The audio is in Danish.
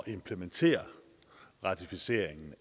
implementere ratificeringen